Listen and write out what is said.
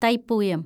Thaipooyam